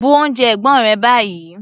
Bu oúnjẹ ẹ̀gbọ́n rẹ báyìí!